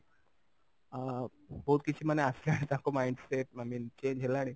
ଅ ବହୁତ କିଛି ମାନେ ଆସିଲାଣି ତାଙ୍କ mind set i mean change ହେଲାଣି